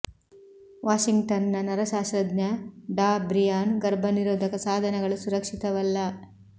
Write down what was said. Washington ನ ನರಶಾಸ್ತ್ರಜ್ಞ ಡಾ ಬ್ರಿಯಾನ್ ಗರ್ಭ ನಿರೋಧಕ ಸಾಧನಗಳು ಸುರಕ್ಷಿತವಲ್ಲ